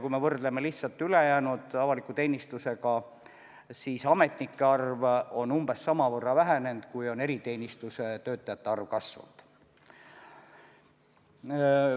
Kui me võrdleme ülejäänud avaliku teenistusega, siis ametnike arv on umbes samavõrra vähenenud, kui on eriteenistuse töötajate arv kasvanud.